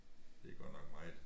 Det er godt nok meget